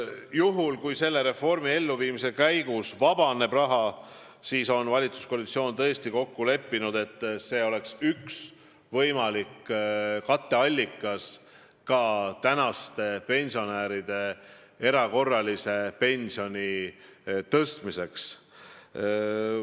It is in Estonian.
Juhul kui selle reformi elluviimise käigus vabaneb raha, siis on valitsuskoalitsioon tõesti kokku leppinud, et see oleks üks võimalik katteallikas praeguste pensionäride pensioni erakorraliseks tõstmiseks.